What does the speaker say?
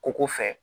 Koko fɛ